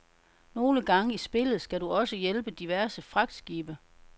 Nogle gange i spillet skal du også hjælpe diverse fragtskibe.